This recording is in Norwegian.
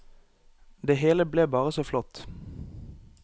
Det hele ble bare så flott.